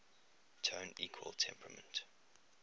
tone equal temperament